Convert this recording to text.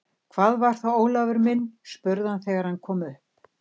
Hvað var það, Ólafur minn? spurði hann þegar hann kom upp.